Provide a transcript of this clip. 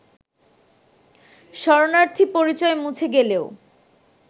শরণার্থী পরিচয় মুছে গেলেও